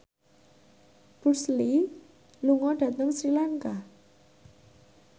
Bruce Lee lunga dhateng Sri Lanka